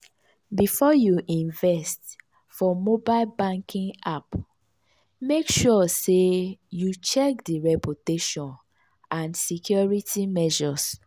before you invest for mobile banking app mek sure sey you check di reputation and security measures.